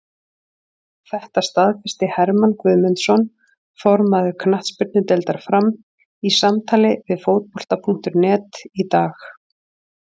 Þetta staðfesti Hermann Guðmundsson, formaður knattspyrnudeildar Fram, í samtali við Fótbolta.net í dag.